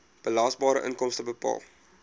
belasbare inkomste bepaal